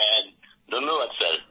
হ্যাঁ ধন্যবাদ স্যার